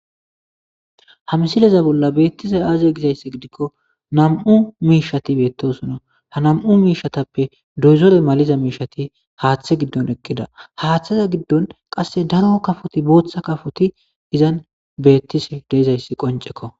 ha msileza bolla beettise aaze gizayss gidikko nam7u miishati beettosono ha nam7u miishatappe doyzore maliza miishati haaththe giddon ekkida haaththaza giddon qasse daro kafoti booththa kafoti izan beettise deezayssi qoncekko